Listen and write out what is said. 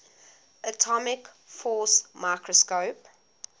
atomic force microscope